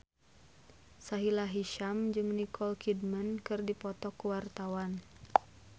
Sahila Hisyam jeung Nicole Kidman keur dipoto ku wartawan